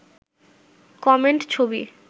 comment ছবি